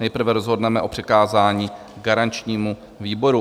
Nejprve rozhodneme o přikázání garančnímu výboru.